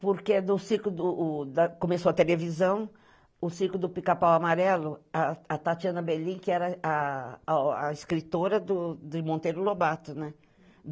Porque no circo do o da... Começou a televisão, o circo do Pica-Pau Amarelo, a a a Tatiana Belin, que era a a a escritora de Monteiro Lobato, né?